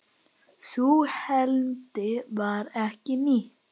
Sú heimild var ekki nýtt.